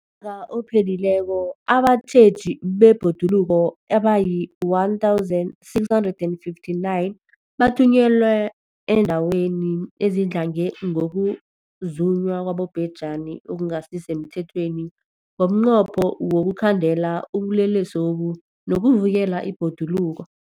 UmNnyaka ophelileko abatjheji bebhoduluko abayi-1 659 bathunyelwa eendaweni ezidlange ngokuzunywa kwabobhejani okungasi semthethweni ngomnqopho wokuyokukhandela ubulelesobu nokuvikela ibhoduluko.